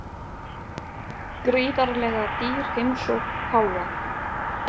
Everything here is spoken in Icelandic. Gríðarlega dýr heimsókn páfa